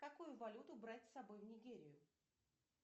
какую валюту брать с собой в нигерию